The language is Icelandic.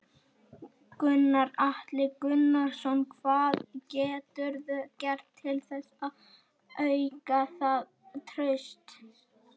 Gunnar Atli Gunnarsson: Hvað geturðu gert til þess að auka það traust?